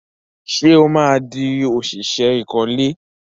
Ṣé ó máa di òṣìṣẹ́ ìkọ́lé?